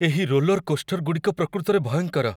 ଏହି roller coaster ଗୁଡ଼ିକ ପ୍ରକୃତରେ ଭୟଙ୍କର।